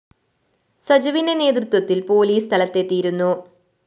സജുവിന്റെ നേതൃത്വത്തില്‍ പോലീസ് സ്ഥലത്തെതിയിരുന്നു